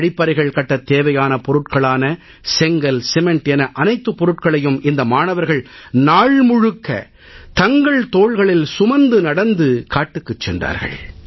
கழிப்பறைகள் கட்டத் தேவையான பொருட்களான செங்கல் சிமெண்ட் என அனைத்துப் பொருட்களையும் இந்த மாணவர்கள் நாள் முழுக்க தங்கள் தோள்களில் சுமந்து நடந்து காட்டுக்குச் சென்றார்கள்